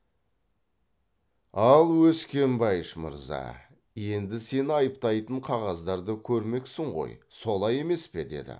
ал өскенбайыш мырза енді сені айыптайтын қағаздарды көрмексің ғой солай емес пе деді